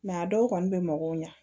a dɔw kɔni bɛ mɔgɔw ɲɛ